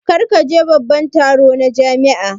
Kar ku je babban taro na jami'a